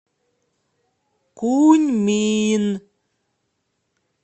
куньмин